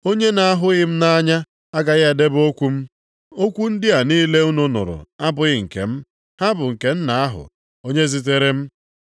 Onye na-ahụghị m nʼanya agaghị edebe okwu m. Okwu ndị a niile unu nụrụ abụghị nke m. Ha bụ nke Nna ahụ, onye zitere m.